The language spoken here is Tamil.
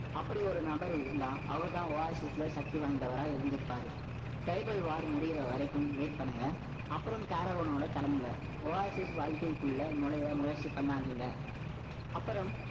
அப்படி ஒரு நபர் இருந்தால், அவர்தான் Oasis ல, சக்தி வாய்ந்தவரா இருந்திருப்பாரு. Cyberwar முடியிற வரைக்கும், wait பண்ணுங்க அப்புறம் caravan ல கிளம்புங்க Oasis வாழ்க்கைக்குள்ள நுழைய முயற்சி பண்ணாதீங்க. அப்புறம்,